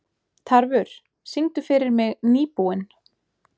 Tarfur, syngdu fyrir mig „Nýbúinn“.